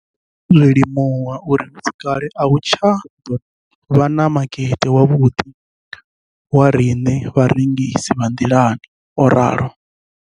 Ndo ḓo zwi limuwa uri hu si kale a hu nga tsha ḓo vha na makete wavhuḓi wa riṋe vharengisi vha nḓilani, o ralo.